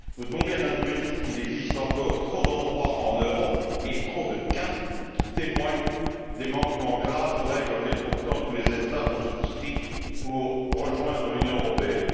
Nous devons bien admettre qu'il existe encore trop d'endroits en Europe et trop de cas qui témoignent de manquements graves aux règles auxquelles, pourtant, tous les États ont souscrit pour rejoindre l'Union européenne.